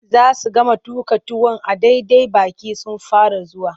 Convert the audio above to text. Za su gama tuƙa tuwon a daidai baƙi sun fara zuwa.